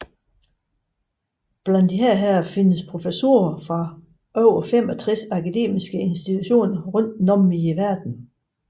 Blandt disse findes professorer fra over 65 akademiske institutioner rundtom i verden